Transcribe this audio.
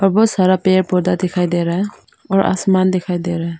और बहुत सारा पेड़ पौधा दिखाई दे रहा है और आसमान दिखाई दे रहा है।